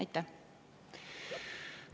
Aitäh!